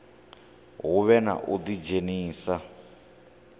hu vhe na u ḓidzhenisa